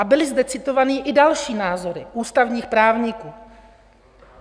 A byly zde citované i další názory - ústavních právníků.